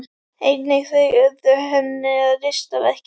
Einnig þau urðu henni að listaverki.